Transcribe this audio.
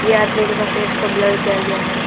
ये आदमी लोग का फेस को ब्लर किया गया है।